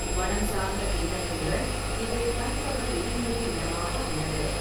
வனம் சார்ந்த பின்னணியுடன் இது கண்கவர் எழில்மிகு இடமாக உள்ளது.